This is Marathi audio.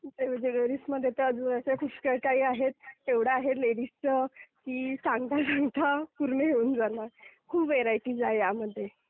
ज्वेलरीजमध्ये तर अजून असं पुष्कळ काही आहे. एवढं आहे लेडीजचं की सांगता सांगता पूर्ण होऊन जाईल. खूप व्हरायटीज आहे यामध्ये.